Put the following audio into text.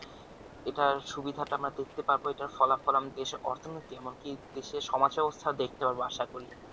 এটার সুবিধা টা আমরা দেখতে পাবো এটার ফলাফল আমাদের দেশের অর্থনৈতিক এমনকি দেশের সমাজ ব্যবস্থা দেখতে পাব আশা করি